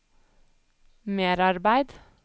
merarbeid